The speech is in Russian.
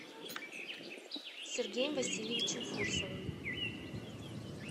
сергеем васильевичем фурсовым